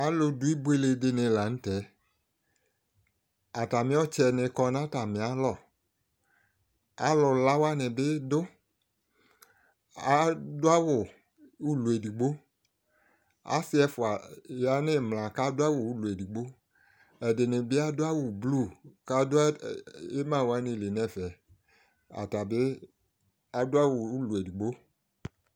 Alʋ dʋi ɩbʋele dɩnɩ la nʋ tɛ atamɩ ɔtsɛ nɩ kɔ nʋ atamɩalɔ alu lawanɩ bɩ dʋ adʋ awʋ ʋlɔ edɩgbo asɩ ɛfʋa ya nʋ ɩmla kadʋ awʋ ʋlɔ edɩgbo ɛdɩnɩ bɩ adʋ awʋ blʋ kadʋ ɩmawanɩ lɩ nɛfɛ atabɩ adʋ awʋ ʋlɔ edɩgbo